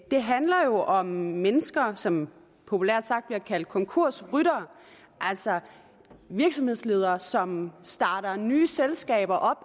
det handler jo om mennesker som populært sagt bliver kaldt konkursryttere altså virksomhedsledere som starter nye selskaber